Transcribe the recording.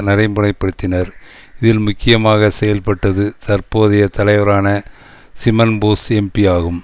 நடைமுறைப்படுத்தினர் இதில் முக்கியமாக செயல்பட்டது தற்போதைய தலைவரான சிமன் போஸ் எம்பி ஆகும்